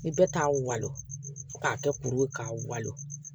Ni bɛɛ t'a walo fo k'a kɛ kuru ye k'a walo